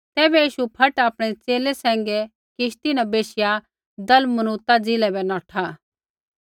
तैबै यीशु फट आपणै च़ेले सैंघै किश्ती न बैशिया दलमनूता ज़िलै बै नौठा